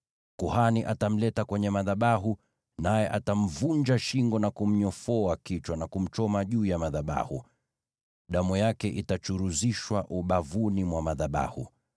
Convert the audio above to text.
Kuhani atamleta kwenye madhabahu, naye atamvunja shingo na kumnyofoa kichwa na kumchoma juu ya madhabahu. Damu yake itachuruzishwa ubavuni mwa madhabahu.